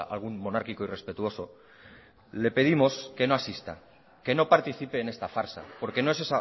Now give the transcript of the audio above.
a algún monárquico irrespetuoso le pedimos que no asista que no participe en esta farsa porque no es